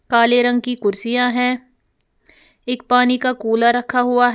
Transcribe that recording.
काले रंग की कुर्सियां है एक पानी का कूलर रखा हुआ है।